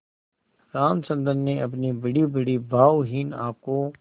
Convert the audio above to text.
रामचंद्र ने अपनी बड़ीबड़ी भावहीन आँखों